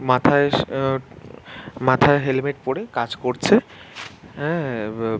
মাথায় স মাথায় হেলমেট পরে কাজ করছে আঁ ।